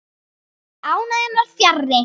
En ánægjan var fjarri.